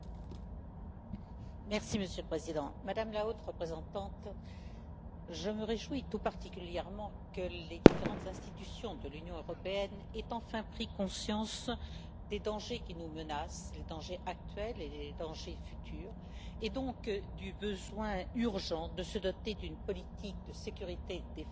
Monsieur le Président, Madame la Haute représentante, je me réjouis tout particulièrement que les différentes institutions de l'Union européenne aient enfin pris conscience des dangers qui nous menacent les dangers actuels et les dangers futurs et donc du besoin urgent de se doter d'une politique de sécurité et de défense qui soit à la fois